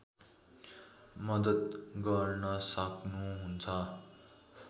मद्दत गर्न सक्नुहुन्छ